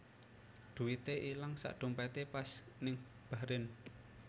Duite ilang sak dompete pas ning Bahrain